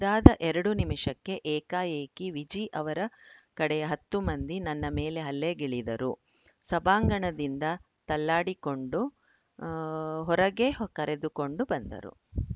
ಇದಾದ ಎರಡು ನಿಮಿಷಕ್ಕೆ ಏಕಾಏಕಿ ವಿಜಿ ಅವರ ಕಡೆಯ ಹತ್ತು ಮಂದಿ ನನ್ನ ಮೇಲೆ ಹಲ್ಲೆಗಿಳಿದರು ಸಭಾಂಗಣದಿಂದ ತಳ್ಳಾಡಿಕೊಂಡು ಆ ಹೊರಗೆ ಕರೆದುಕೊಂಡು ಬಂದರು